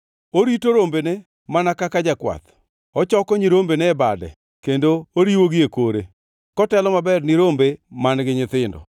Orito rombene mana kaka jakwath: Ochoko nyirombene e bade, kendo oriwogi e kore kotelo maber ni rombe man-gi nyithindo.